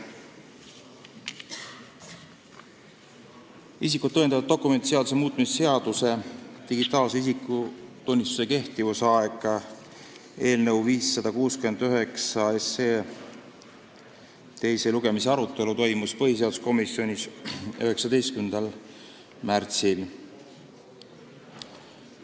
Isikut tõendavate dokumentide seaduse muutmise seaduse eelnõu 569 teise lugemise arutelu toimus põhiseaduskomisjonis 19. märtsil.